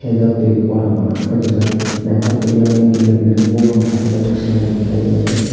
o jaga tui kormma kei rijak naitok ke eyang kinar kirar ke bopang tash ke senari kaioe taongrijak.